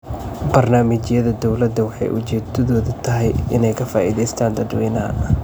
Barnaamijyada dawladu waxay ujeedadoodu tahay inay ka faa'iidaystaan ​​dadweynaha.